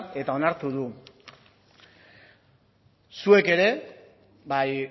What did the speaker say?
eta onartu du zuek ere bai